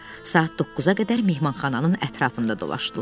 Saat 9-a qədər mehmanxananın ətrafında dolaşdılar.